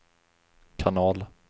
kanal